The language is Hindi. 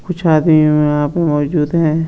कुछ आदमी यहाँ पर मौजूद हैं।